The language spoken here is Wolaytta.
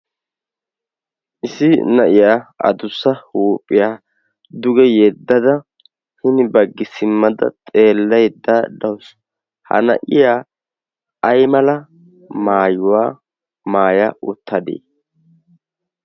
issi na'iyaa adussa huuphiyaa duge yeeddada hini baggi simmada xeelleedda dawussu ha na'iya ay mala maayuwaa maaya uttadee?